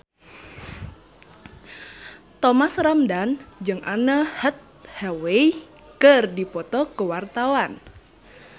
Thomas Ramdhan jeung Anne Hathaway keur dipoto ku wartawan